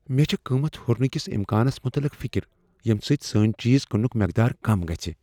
مےٚ چھےٚ قیمت ہُرنہٕ کس امکانس متعلق فکر ییٚمہ سۭتۍ سٲنۍ چیز کننک مقدار کم گژھِ۔